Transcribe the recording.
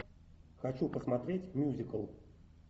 хочу посмотреть мюзикл